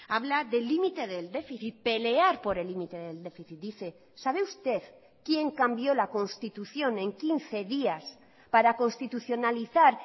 habla del límite del déficit pelear por el límite del déficit dice sabe usted quién cambió la constitución en quince días para constitucionalizar